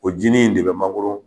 O jinin in de bɛ mangoro